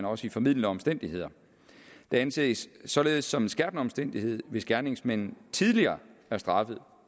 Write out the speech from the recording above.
også formildende omstændigheder det anses således som en skærpende omstændighed hvis gerningsmanden tidligere er straffet